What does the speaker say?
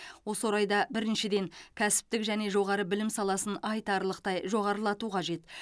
осы орайда біріншіден кәсіптік және жоғары білім саласын айтарлықтай жоғарылату қажет